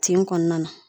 Tin kɔnɔna na